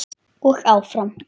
Og áfram.